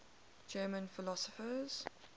german philosophers